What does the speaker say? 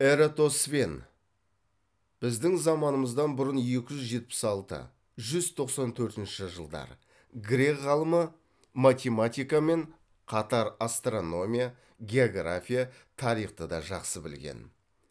эратосфен грек ғалымы математикамен қатар астрономия география тарихты да жақсы білген